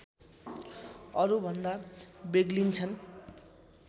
अरूभन्दा बेग्लिन्छन्